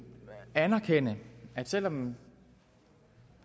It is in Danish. anerkende at selv om